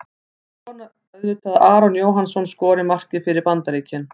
Ég vona auðvitað að Aron Jóhannsson skori markið fyrir Bandaríkin.